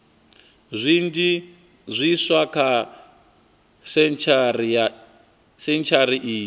zwinzhi zwiswa kha sentshari iyi